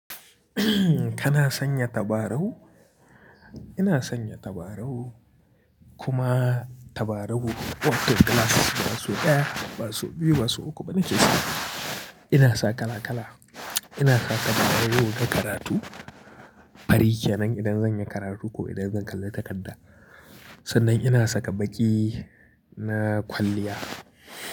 Kana sanya tabarau? Ina sanya tabarau kuma tabarau wasu ɗaya, wasu biyu, wasu uku bane ke so. Ina sa kala kala. Ina sa tabarau na karatu, fari kenan idan zan yi karatu ko idan zan kalli takarda. Sannan ina saka baƙi na kwalliya.